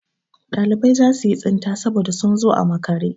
Ɗalibai za su yi tsinta saboda sun zo a makare.